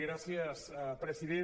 gràcies president